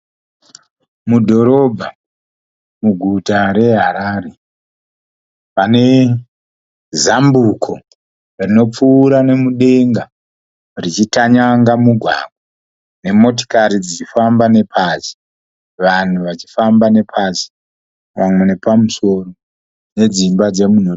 Mudhorobha, muguta meHarare. Pane zambuko rinopfuura nemudenga richitanyanga mugwagwa nemotikari dzichifamba nepasi. Vanhu vachifamba nepasi vamwe nepamusoro nedzimba dzemunhurikidzwa.